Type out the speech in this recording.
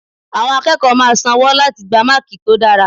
Àwọn akẹ́kọ̀ọ́ máa san wọ́ láti gba Máàkì tó dára.